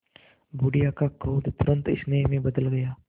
बुढ़िया का क्रोध तुरंत स्नेह में बदल गया